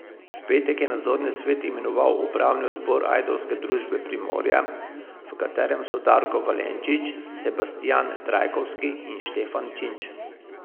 V petek je nadzorni svet imenoval upravni odbor ajdovske družbe Primorje, v katerem so Darko Valenčič, Sebastijan Trajkovski in Štefan Činč.